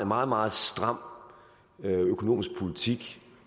meget meget stram økonomisk politik